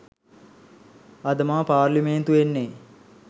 අද මම පාර්ලිමේන්තු එන්නේ